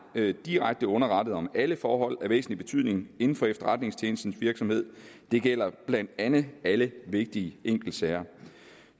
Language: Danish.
direkte underrettet om alle forhold af væsentlig betydning inden for efterretningstjenestens virksomhed det gælder blandt andet alle vigtige enkeltsager